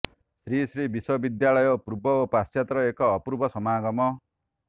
ଶ୍ରୀ ଶ୍ରୀ ବିଶ୍ୱବିଦ୍ୟାଳୟ ପୂର୍ବ ଓ ପାଶ୍ଚାତ୍ୟର ଏକ ଅପୂର୍ବ ସମାଗମ